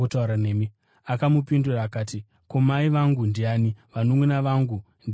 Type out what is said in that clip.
Akamupindura akati, “Ko, mai vangu ndiani, navanunʼuna vangu ndivanaani?”